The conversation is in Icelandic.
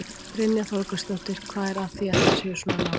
Brynja Þorgeirsdóttir: Hvað er að því að þeir séu svona nálægt?